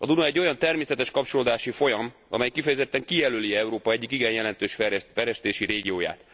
A Duna egy olyan természetes kapcsolódási folyam, amely kifejezetten kijelöli Európa egyik igen jelentős fejlesztési régióját.